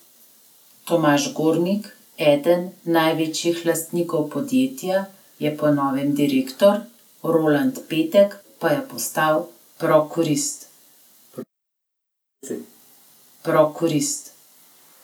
Tomaž Gornik, eden največjih lastnikov podjetja, je po novem direktor, Roland Petek pa je postal prokurist.